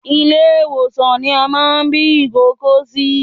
Ilé ìwòsan ní a máa bí ìkókó sí